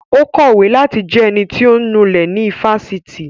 Ó kọ̀wé láti jẹ ẹnití ọ̀ ń nulẹ̀ ní ifásitì